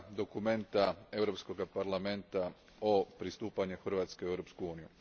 dokumenta Europskog Parlamenta o pristupanju Hrvatske u Europsku uniju.